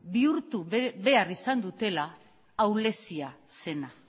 bihurtu behar izan dutela ahulezia zena